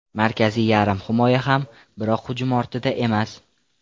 Markaziy yarim himoya ham, biroq hujum ortida emas.